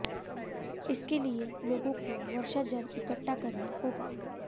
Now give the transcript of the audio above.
इसके लिए लोगों को वर्षा जल इकठ्ठा करना होगा